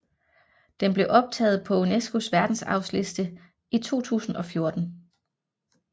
Den blev optaget på UNESCOs verdensarvsliste i 2014